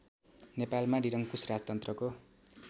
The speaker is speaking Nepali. नेपालमा निरङ्कुश राजतन्त्रको